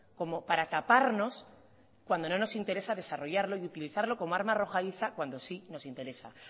como para taparnos cuando no nos interesa desarrollarlo y utilizarlo como arma arrojadiza cuando sí nos interesa